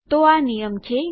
તો આ નિયમ છે